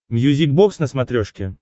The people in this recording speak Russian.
мьюзик бокс на смотрешке